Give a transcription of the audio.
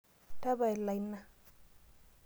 Tapala ina.